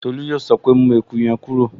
Tolú yóò sọ pé, 'mú eku yẹn kúrò'